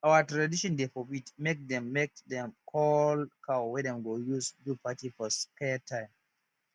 our tradition dey forbid make them make them koll cow wey dem go use do party for scared time